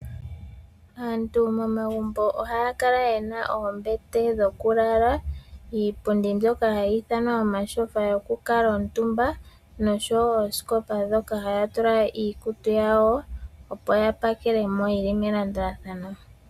Aantu momagumbo ohaya kala yena oombete dhokulala, iipundi mbyoka hayi ithanwa omatyofa yokukuutumba noshowo oosikopa ndhoka haya tula iikutu yawo opo ya pakele mo yili melandulathano.